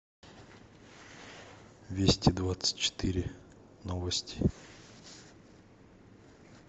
вести двадцать четыре новости